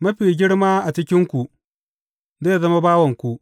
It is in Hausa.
Mafi girma a cikinku, zai zama bawanku.